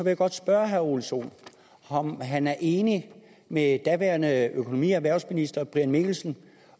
jeg godt spørge herre ole sohn om han er enig med daværende økonomi og erhvervsminister brian mikkelsen